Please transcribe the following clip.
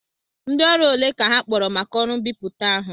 Ndị ọrụ ole ka ha kpọkọrọ maka ọrụ mbipụta ahụ?